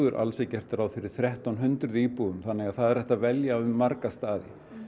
alls er gert ráð fyrir þrettán hundruð íbúðum þannig það er hægt að velja um marga staði